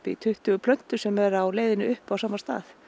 tuttugu plöntur sem eru á leiðinni upp á sama stað